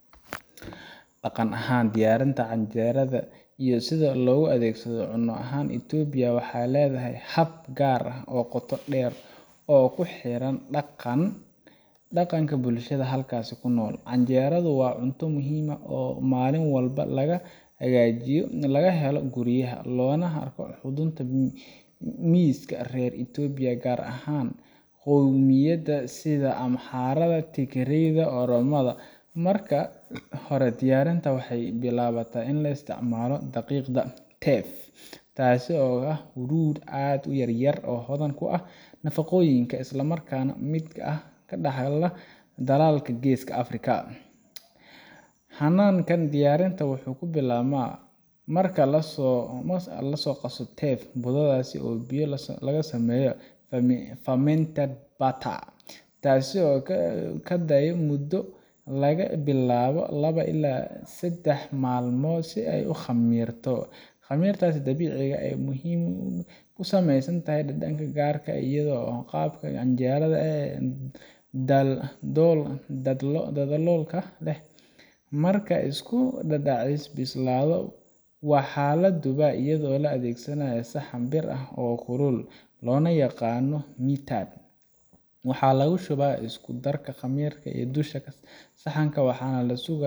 Dagan ahan diyarinta canjerada iyo sidha logaadegsado cuno ahan itobiyaa waxay ledahay hab gaar ah oo gotaa deer oo kuhiran daganka bulshadha halkasi kunol, dagankasi wa cunto muxiim ah oo malin walbo lagahagajiyo hagahelo guriyaha miska rer itobia gaar ahan qoymiyada amharada tigreda ama oromada, marka hore diyarinta waxay bilabata ama laisticmala daqiqda , taasi oo aad uyaryar oo can kuah nafagoyinka marka dalagka qeska africa, hanankan wuxu kubilabna, marka lasaro teef budadasi taasi oo kadigi mudo lagabilabo laba ila sadax malmo si ay ugamirto, gamirtas dabici ah waxay kusameysantahay habka canjerada ee daldalonka leh marka ismarkana dadaceyse balabo, wa xalad dabici ah iyado laadegsanayo sahan biir ah oo kulul lonayagano waxa lagashuwa iakudarka gamirka iyo dusha sahanka waxana.